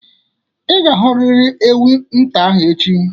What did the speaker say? Ị ga-ahụrịrị ewita ahụ echi!